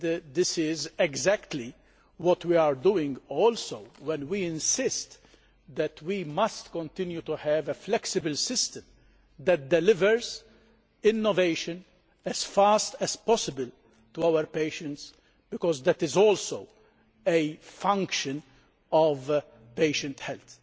This is exactly what we are doing too when we insist that we must continue to have a flexible system that delivers innovation as fast as possible to our patients, because that is also a function of patient health.